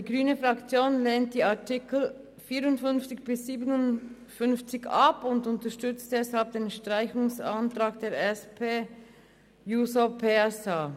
Die grüne Fraktion lehnt die Artikel 54–57 ab und unterstützt deshalb den Streichungsantrag der SP-JUSO-PSA-Fraktion.